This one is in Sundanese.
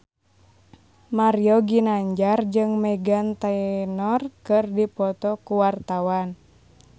Mario Ginanjar jeung Meghan Trainor keur dipoto ku wartawan